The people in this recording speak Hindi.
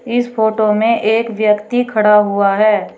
इस फोटो में एक व्यक्ति खड़ा हुआ है।